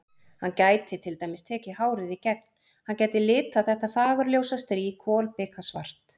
Hann gæti til dæmis tekið hárið í gegn, hann gæti litað þetta fagurljósa strý kolbikasvart.